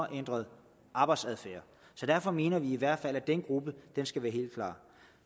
ændret arbejdsadfærd så derfor mener vi i hvert fald at den gruppe skal være helt klar